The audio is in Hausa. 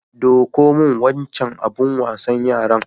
Ɗauko min wancan abin wasan yaran.